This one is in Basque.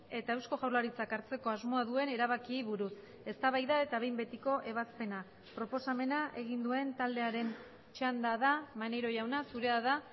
eta eusko jaurlaritzak hartzeko asmoa duen erabakiei buruz eztabaida eta behin betiko ebazpena proposamena egin duen taldearen txanda da maneiro jauna zurea da